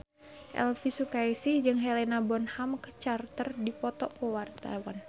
Elvi Sukaesih jeung Helena Bonham Carter keur dipoto ku wartawan